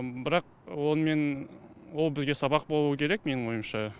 бірақ онымен ол бізге сабақ болу керек менің ойымша